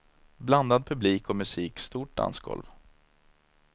Blandad publik och musik, stort dansgolv.